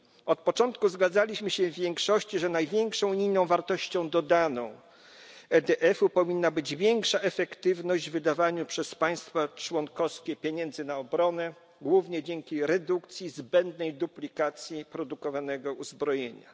Od początku zgadzaliśmy się w większości, że największą unijną wartością dodaną EDF powinna być większa efektywność wydawania przez państwa członkowskie pieniędzy na obronę, głównie dzięki redukcji zbędnej duplikacji produkowanego uzbrojenia.